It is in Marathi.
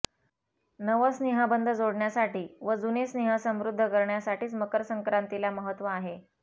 नव स्नेहबंध जोडण्यासाठी व जुने स्नेह समृद्ध करण्यासाठीच मकर संक्रांतीला महत्त्व आहे